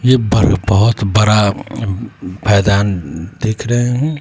यह बरबाद बरा मैदान दिख रहे हैं।